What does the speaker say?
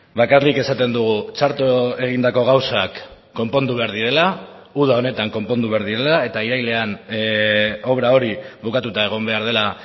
bakarrik esaten dugu txarto egindako gauzak konpondu behar direla uda honetan konpondu behar direla eta irailean obra hori bukatuta egon behar dela